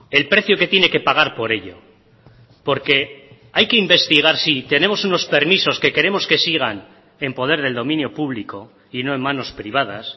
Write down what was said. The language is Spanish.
el precio que tiene que pagar por ello porque hay que investigar sí tenemos unos permisos que queremos que sigan en poder del dominio público y no en manos privadas